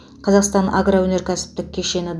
қазақстан агроөнеркәсіптік кешені